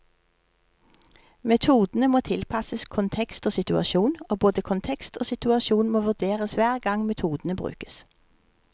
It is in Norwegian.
Metodene må tilpasses kontekst og situasjon, og både kontekst og situasjon må vurderes hver gang metodene brukes.